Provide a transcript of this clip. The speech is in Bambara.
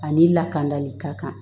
A n'i lakanali ka kan